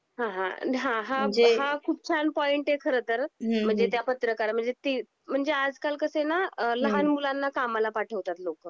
हां हां. हां हा खुप छान पॉईंट आहे खर तर म्हणजे त्या पत्रकारा म्हणजे ती म्हणजे आज काल कस ना लहान मुलांना कामाला पाठवतात लोक